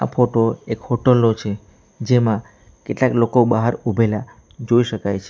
આ ફોટો એક હોટલ નો છે જેમાં કેટલાક લોકો બહાર ઉભેલા જોઈ શકાય છે.